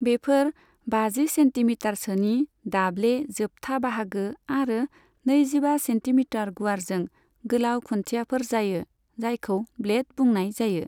बेफोर बाजि सेन्टिमिटारसोनि दाब्ले जोबथा बाहागो आरो नैजिबा सेन्टिमिटार गुवारजों गोलाव खुन्थियाफोर जायो, जायखौ ब्लेड बुंनाय जायो।